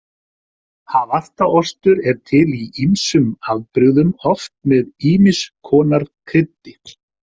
Havarta ostur er til í ýmsum afbrigðum, oft með ýmiss konar kryddi.